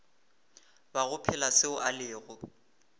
bago phela seo a lego